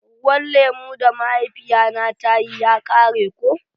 Ruwan lemu da mahaifiya na ta yi ya kare ko.